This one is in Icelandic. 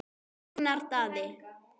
Ragnar Daði.